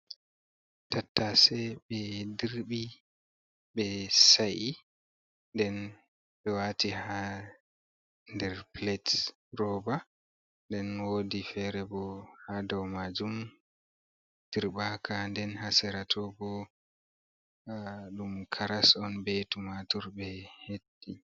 Tattase ɓe dirɓi ɓe sa'i, nden ɓe waati haa nder pilet roba, nden wodi fere bo haa dow majum dirɓaka, nden haa sera tooh bo ɗum karas on be tumatur ɓe he'i.